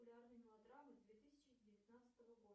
популярные мелодрамы две тысячи девятнадцатого года